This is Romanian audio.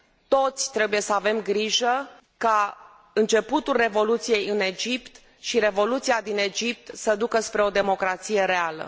Toți trebuie să avem grijă ca începutul revoluției în Egipt și revoluția din Egipt să ducă spre o democrație reală.